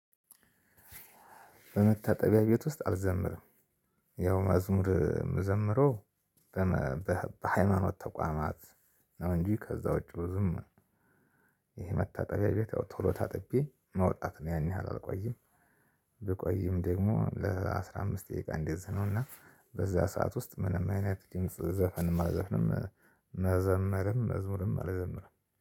በመታጠቢያ ቤት ውስጥ አልዘምርም። ያው መዝሙር የምዘምረው በሃይማኖት ተቋማት ነው። እንጂ ከዛ ውጪ ብዙም ይሄ መታጠቢያ ቤት ያው ቶሎ ታጥቤ መውጣት ነው ያን ያህል አልቆይም። ብቆይም ደግሞ ለአስራ አምስት ደቂቃ እንዲዚህ ነውና በዛ ሰዓት ውስጥ ምንም አይነት ዘፈን መዘፍንም መዘመርም መዝሙርም አልዘምርም።